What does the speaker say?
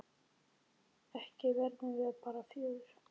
Ekki verðum við bara fjögur?